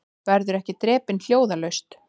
Verðum ekki drepin hljóðalaust